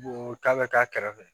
ta bɛ k'a kɛrɛfɛ